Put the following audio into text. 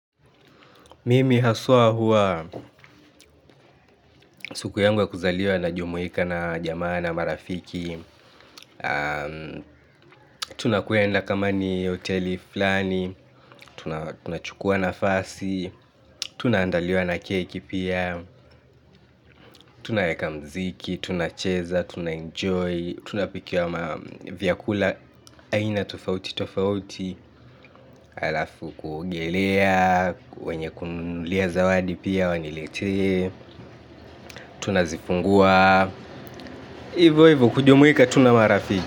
Mimi haswa huwa siku yangu ya kuzaliwa najumuika na jamaa na marafiki. Tunakwenda kama ni hoteli fulani. Tunachukua nafasi. Tunaandaliwa na keki pia. Tunaweka muziki, tunacheza, tunaenjoy. Tunapikiwa vyakula aina tofauti tofauti halafu kuogelea wenye kuninunulia zawadi pia waniletee. Tunazifungua hivyo hivyo kujumuika tu na marafiki.